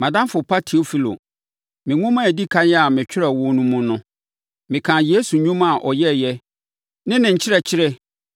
Mʼadamfo pa Teofilo, me nwoma a ɛdi ɛkan a metwerɛɛ wo no mu no, mekaa Yesu nnwuma a ɔyɛeɛ ne ne nkyerɛkyerɛ